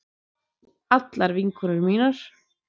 Allar vinkonur mínar.